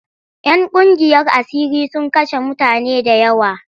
‘Yan ƙungiyar asiri sun kashe mutane da yawa.